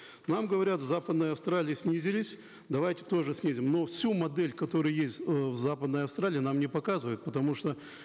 нам говорят в западной австралии снизились давайте тоже снизим но всю модель которая есть э в западной австралии нам не показывают потому что